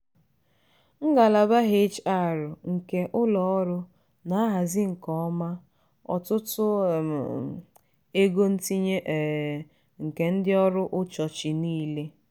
ngalaba hr nke ụlọ ọrụ na-ahazi nke ọma ọtụtụ ego ntinye um nke ndị ọrụ ụchọchị niile.